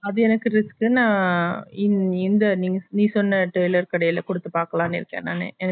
அது என்னக்கு risk குன்னு இந் இந்த நீ சொன்ன tailor கடைல குடுத்து பாக்கலாமே நனச்சே